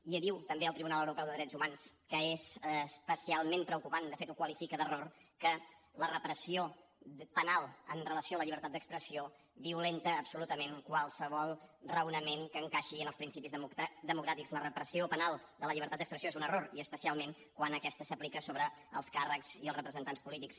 i diu també el tribunal europeu de drets humans que és especialment preocupant de fet ho qualifica d’error que la repressió penal amb relació a la llibertat d’expressió violenta absolutament qualsevol raonament que encaixi en els principis democràtics la repressió penal de la llibertat d’expressió és un error i especialment quan aquesta s’aplica sobre els càrrecs i els representants polítics